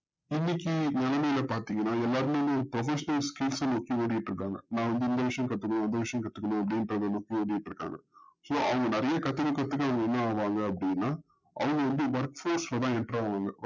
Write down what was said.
இன்னக்கி மனநிலை பாத்திங்கன்ன எல்லாருமே professional skils னு தேடிட்டு இருக்காங்க நா வந்து இந்த விஷயம் கத்துக்கணும் அந்த விஷயம் கத்துக்கணும் அப்டின்றத தேடிட்டுஇருக்காங்க so அவங்க நரையா கத்துக்க கத்துக்க என்ன ஆகுராக அப்டின்னா அவங்க வந்து work face ல தா intro ஆவாங்க